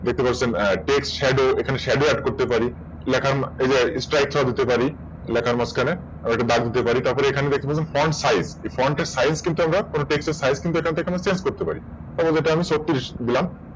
দেখতে পাচ্ছেন TextShadowWork করতে পারি। দেখেন এই যে Strick ও দিতে পারি লেখার মাঝখানে বা না দিতেও পারি এবার দেখবেন হল FrontSize মানে Text এর Size কিন্তু আমরা Change করতে পারি এখানে যেটা হবে ছত্রিশ দিলাম